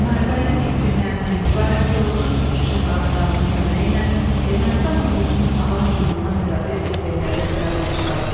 Müharibənin ilk günlərindən etibarən pilotsuz uçuş aparatlarının köməyi ilə Ermənistan ordusunun hava hücumundan müdafiə sistemləri sıradan çıxarıldı.